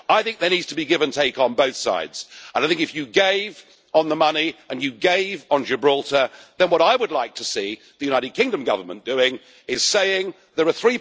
I think there needs to be give and take on both sides, and I think if you gave on the money and you gave on Gibraltar, then what I would like to see the United Kingdom Government doing is saying there are